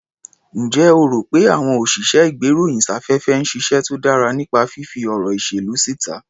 Ǹjẹ́ o rò pé àwọn òsìṣẹ́-ìgbéròyìn-sáfẹ́fẹ́ ń ṣiṣẹ́ tó dára nípa fífí ọ̀rọ̀ ìṣèlú síta?